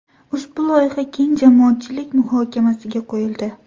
Ushbu loyiha keng jamoatchilik muhokamasiga qo‘yildi.